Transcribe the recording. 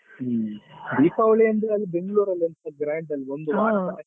ಹ್ಮ್ ದೀಪಾವಳಿ ಅಂತೂ ಅಲ್ಲಿ Bangalore ಲ್ಲಿ ಎಷ್ಟು grand ಒಂದು ವಾರ ಮಾಡ್ತಾರೆ.